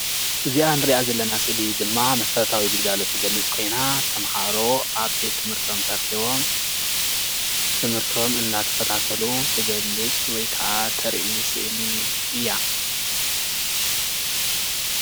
እዚኣ እንሪኣ ዘለና ስእሊ ድማ መስረታዊ ግልጋሊት እትገልፅ ኮይና ተማሃሮ ኣብ ቤት ትምህርቶም ተረኪቦም ትምህርቶም እንዳተከታተሉ እትገልፅ ወይ ከዓ እተርኢ ስእሊ እያ፡፡